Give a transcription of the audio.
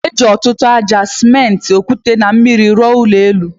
E, eji ọtụtụ aja, simenti, okwute na mmiri arụ ụlọ elu